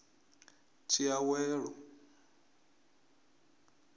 tshiawelo